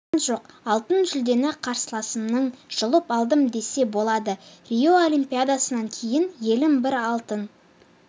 болған жоқ алтын жүлдені қарсыласымның жұлып алдым десе болады рио олимпиадасынан кейін еліме бір алтын